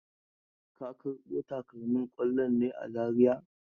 Ka karbo takalmin kwallon ne a Zariya?